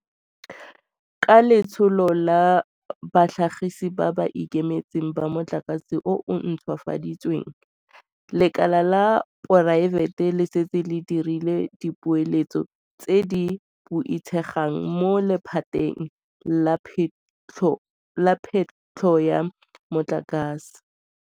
Ka Letsholo la Batlhagisi ba ba Ikemetseng ba Motlakase o o Ntšhwafaditsweng, lekala la poraefete le setse le dirile dipeeletso tse di boitshegang mo lephateng la phetlho ya motlakase.